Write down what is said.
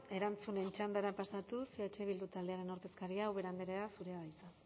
erantzunen txandara pasatuz eh bildu taldearen ordezkaria ubera andrea zurea da hitza